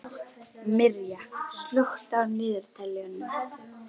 Mirja, slökktu á niðurteljaranum.